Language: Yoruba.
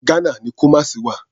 Ghana ni Kumasi wà.